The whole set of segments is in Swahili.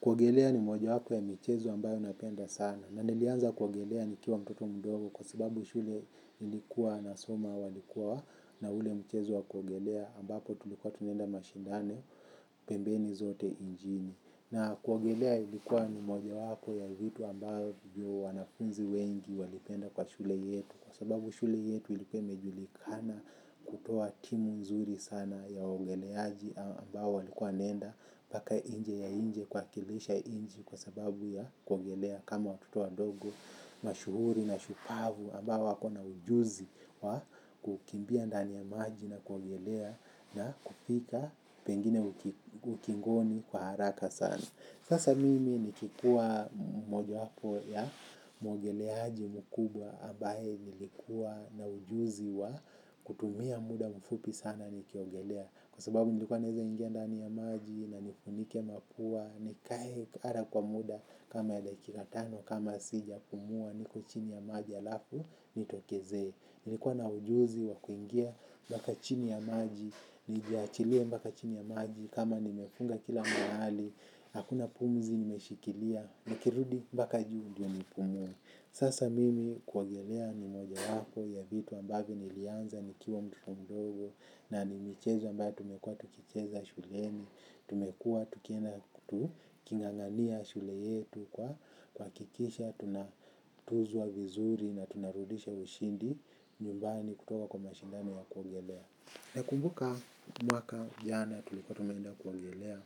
Kuogelea ni moja yapo ya mchezo ambayo napenda sana na nilianza kuogelea nikiwa mtoto mdogo kwa sababu shule nilikua na soma walikua na ule mchezo wa kuogelea ambapo tulikuwa tunaenda mashindano pembeni zote inchini na kuogelea ilikuwa ni moja yapo ya vitu ambavyo wanafunzi wengi walipenda kwa shule yetu kwa sababu shule yetu ilikuwa imejulikana kutoa timu nzuri sana ya waogeleaji ambayo walikua wanaenda mpaka nje ya inchi kuwakilisha inchi kwa sababu ya kuogelea. Kama watoto wadogo mashuhuri na shupavu ambao wakona ujuzi wa kukimbia ndani ya maji na kuogelea na kupika pengine ukingoni kwa haraka sana. Sasa mimi nikikuwa moja hapo ya muogeleaji mkubwa ambaye nilikua na ujuzi wa kutumia muda mfupi sana nikiogelea kwa sababu nilikuwa naweza ingia ndani ya maji na nifunike mapua nikae kwa muda kama dakika tano kama sijapumua niko chini ya maji alafu nitokeze. Nilikuwa na ujuzi wa kuingia mpaka chini ya maji nijachilie mpaka chini ya maji kama nimefunga kila mahali. Hakuna pumzi nimeshikilia. Nikirudi mpaka juu ndio nipumue. Sasa mimi kuogelea ni moja yapo ya vitu ambavyo nilianza nikiwa mtoto mdogo na nimecheza mbaka tumekua tukicheza shuleni, tumekua tukienda niking'ang'ania shule yetu kwa kuhakikisha, tunatuzwa vizuri na tunarudisha ushindi, nyumbani kutoka kwa mashindano ya kuongelea. Nakumbuka mwaka jana tulikuwa tumeenda kuogelea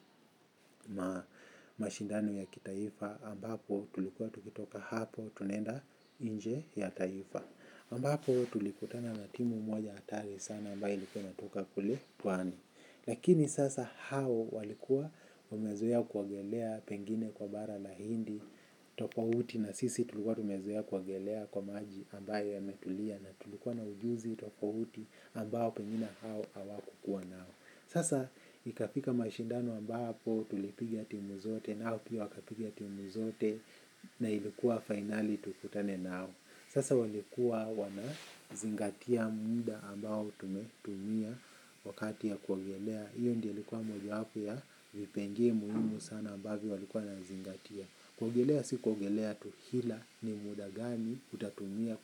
mashindano ya kitaifa ambapo tulikuwa tukitoka hapo tunenda inje ya taifa ambapo tulipatana na timu moja hatari sana ambayo ilikuwa inatoka kule pwani. Lakini sasa hao walikuwa wamezoea kuogelea pengine kwa bara la hindi tofauti na sisi tulikuwa tumezoea kuogelea kwa maji ambayo yametulia na tulikuwa na ujuzi tofauti ambao pengine hao hawakukuwa nayo. Sasa ikafika mashindano ambapo tulipigi timu zote nao pia wakapigia timu zote na ilikuwa finali tukutane nao. Sasa walikuwa wana zingatia muda ambao tumetumia wakati ya kuogelea. Hiyo ndio ilikuwa moja yapo ya vipengee muhimu sana ambavyo walikuwa wanazingatia. Kuogelea si kuogelea tu ila ni muda gani utatumia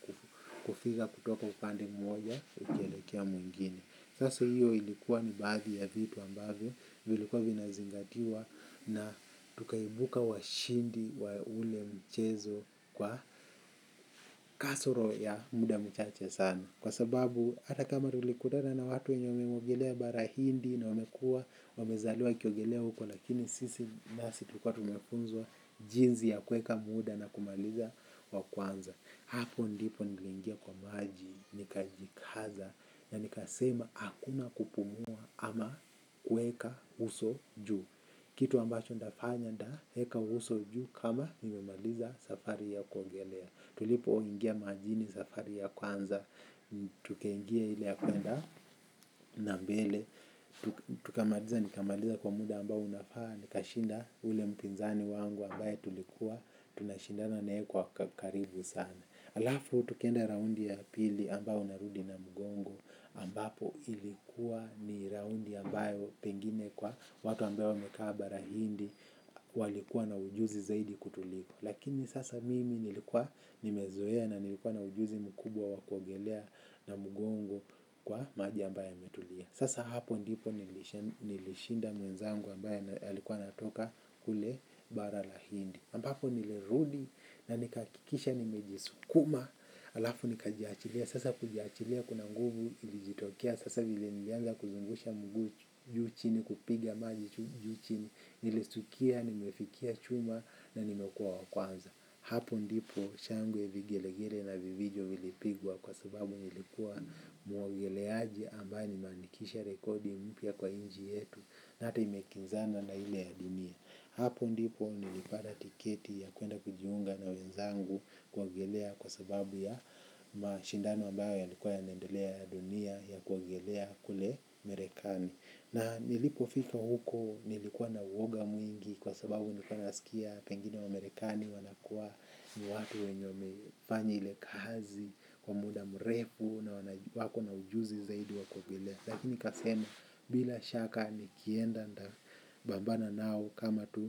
kufika kutoka upande mmoja ukielekea mwingine. Sasa hiyo ilikuwa ni baadhi ya vitu ambavyo, vilikuwa vinazingatiwa na tukaibuka washindi wa ule mchezo kwa kasoro ya muda mchache sana. Kwa sababu, ata kama tulikutana na watu wenye wameogolea barahindi na umekua, umezaliwa ukiogelea huko lakini sisi nasi tukua tumekuzwa jinsi ya kuweka muda na kumaliza wa kwanza. Hapo ndipo nikaingia kwa maji nikajikaza ya nikasema akuna kupumua ama kueka uso juu kitu ambacho nitafanya nitaeka uso juu kama nimemaliza safari ya kuogelea tulipoingia majini safari ya kwanza tukaingia ile ya kuenda na mbele tukamaliza ni kamaliza kwa muda ambao unafaa nikashinda ule mpinzani wangu ambaye tulikuwa tunashindana naye kwa karibu sana, alafu tukaenda raundi ya pili ambayo narudi na mugongo ambapo ilikuwa ni raundi ambayo pengine kwa watu ambao wamekaa bara hindi walikuwa na ujuzi zaidi kutuliko. Lakini sasa mimi nilikuwa nimezoea na nilikuwa na ujuzi mkubwa wa kuogelea na mgongo kwa maji ambayo yametulia. Sasa hapo ndipo nilishinda mwenzangu ambayo alikuwa natoka kule bara la hindi. Ambapo nilirudi na nikahakikisha nimejisukuma alafu nikajiachilia sasa kujiachilia kuna nguvu ilijitokia sasa vile nilianza kuzungusha mguu juu chini kupiga maji juu chini nilistukia nimefikia chuma na nimekua wa kwanza. Hapo ndipo shangwe vigelegele na vivijo vilipigwa kwa sababu nilikuwa muogeleaji ambaye manikisha rekodi mpya kwa inchi yetu na ata imekinzana na ile ya dunia. Hapo ndipo nilipata tiketi ya kuenda kujiunga na wenzangu kuogelea kwa sababu ya mashindano ambayo yalikuwa yanaendelea ya dunia ya kuogelea kule marekani. Na nilipofika huko nilikuwa na uoga mwingi kwa sababu nikuwa nasikia pengine wamerikani wanakuwa ni watu wenye wamefanya ile kazi kwa muda mrefu na wako na ujuzi zaidi wa kuogelea. Lakini nikasema bila shaka nikienda nita pambana nao kama tu.